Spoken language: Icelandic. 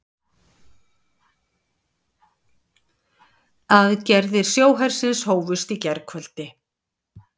Aðgerðir sjóhersins hófust í gærkvöldi